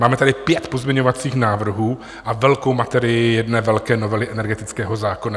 Máme tady pět pozměňovacích návrhů a velkou materii jedné velké novely energetického zákona.